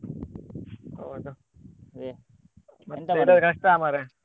ಹೌದು ಮತ್ತೆ ಕಷ್ಟ ಮಾರ್ರೆ.